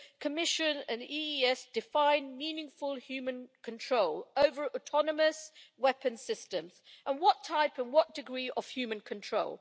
Commission and the EEAS define meaningful human control' over autonomous weapons systems, and what type and what degree of human control?